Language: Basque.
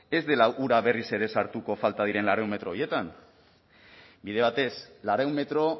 ez dela ura berriz ere sartuko falta diren laurehun metro horietan bide batez laurehun metro